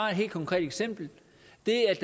det er